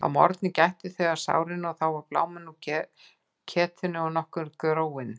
Að morgni gættu þau að sárinu og var þá bláminn úr ketinu og nokkuð gróið.